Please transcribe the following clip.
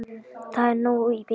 Það er nóg í bili.